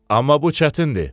Amma bu çətindir.